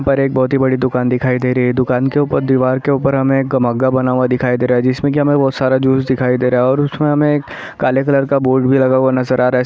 यहाँ पर बहोत ही बड़ी दुकान दिखाई दे रही है दुकान के ऊपर दीवार के ऊपर हमें एक मग्घा बना हुआ दिखाई दे रहा है जिसमें बहोत सारा जूस दिखाई दे रहा है और उसमें हमे एक काले कलर का बोर्ड भी लगा हुआ नज़र आ रहा है।